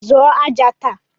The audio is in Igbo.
Zụọ aja taa!